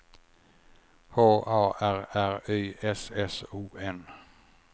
H A R R Y S S O N